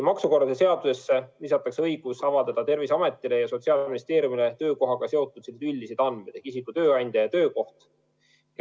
Maksukorralduse seadusesse lisatakse õigus avaldada Terviseametile ja Sotsiaalministeeriumile töökohaga seotud üldisi andmeid, nagu isiku tööandja ja töökoht.